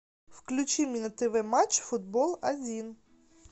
включи мне на тв матч футбол один